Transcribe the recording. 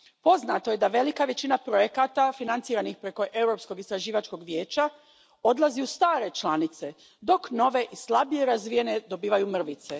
Poznato je da velika većina projekata financiranih preko Europskog istraživačkog vijeća odlazi u stare članice, dok nove i slabije razvijene dobivaju mrvice.